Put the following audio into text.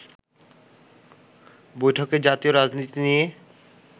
বৈঠকে জাতীয় রাজনীতি নিয়ে